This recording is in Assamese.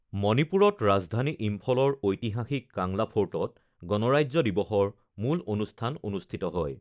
মণিপুৰত ৰাজধানী ইম্ফলৰ ঐতিহাসিক কাংলা ফৰ্টত গণৰাজ্য দিৱসৰ মুল অনুষ্ঠান অনুষ্ঠিত হয়।